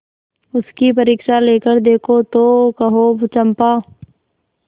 उसकी परीक्षा लेकर देखो तो कहो चंपा